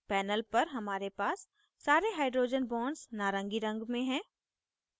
panel पर हमारे पास सारे hydrogen bonds नारंगी रंग में हैं